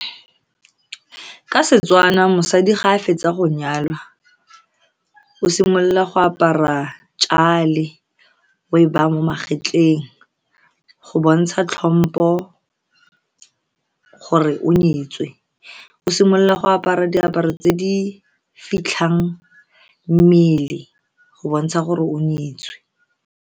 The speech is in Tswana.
Ka Setswana, mosadi ga a fetsa go nyalwa, o simolola go apara jale o e ba mo magetleng go bontsha tlhompo gore o nyetswe. O simolola go apara diaparo tse di fitlhang mmele go bontsha gore o nyetswe.